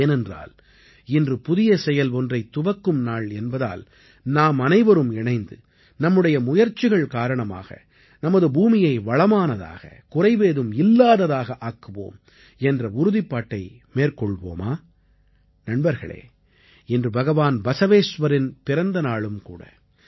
ஏனென்றால் இன்று புதிய செயல் ஒன்றைத் துவக்கும் நாள் என்பதால் நாமனைவருமாக இணைந்து நம்முடைய முயற்சிகள் காரணமாக நமது பூமியை வளமானதாக குறைவேதும் இல்லாததாக ஆக்குவோம் என்ற உறுதிப்பாட்டை மேற்கொள்வோமா நண்பர்களே இன்று பகவான் பஸவேஸ்வரின் பிறந்தநாளும் கூட